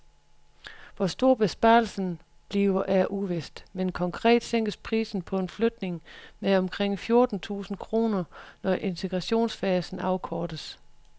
Hvor stor besparelsen bliver er uvist, men konkret sænkes prisen på en flygtning med omkring fjorten tusind kroner, når integrationsfasen afkortes.